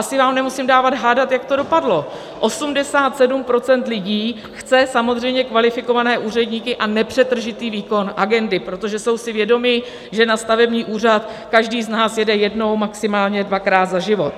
Asi vám nemusím dávat hádat, jak to dopadlo: 87 % lidí chce samozřejmě kvalifikované úředníky a nepřetržitý výkon agendy, protože jsou si vědomi, že na stavební úřad každý z nás jede jednou, maximálně dvakrát za život.